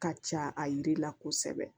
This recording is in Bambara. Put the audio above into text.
Ka ca a yiri la kosɛbɛ